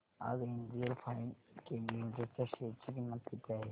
आज NGL Finechem limited च्या share ची किंमत किती आहे